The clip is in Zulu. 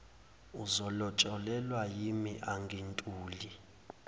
uzolotsholelwa yimi angintuli